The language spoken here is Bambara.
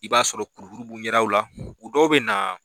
I b'a sɔrɔ kurukuru b'u ɲɛdaw la u dɔw bɛ na.